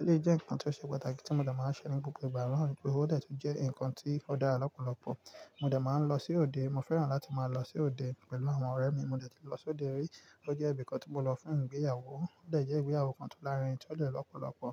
Eléyìí jẹ́ nǹkan tó ṣe pàtàkì tí mo ma n máa ṣe ní gbogbo ìgbà naa. O de je wìpè, ó dẹ̀ tu jẹ́ nǹkan tí ó dára lọ́pọ̀lọpọ̀. Mo de máa ń lọ sí òde, mo fẹ́ràn láti máa lọ sí òde pẹ̀lú àwọn ọ̀rẹ́ mi. Mo dẹ̀ ti lọ sí òde rí, ó jẹ́ ibìkan tí mo lọ fún ìgbéyàwó. Ó dẹ̀ jẹ́ ìgbéyàwó kan tó lárinrin tí ó dẹ̀ lọ́pọ̀lọpọ̀.